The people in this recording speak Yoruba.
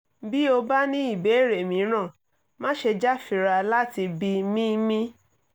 bí o bá ní ìbéèrè mìíràn má ṣe jáfira láti bi mí mí